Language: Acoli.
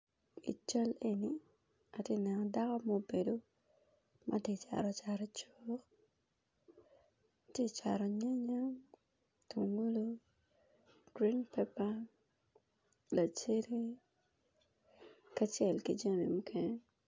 I cal eni atye neno dako ma obedo matye cato cat i cuk tye cato nyanya tungulu green paper lacede kacel ki jami mukene.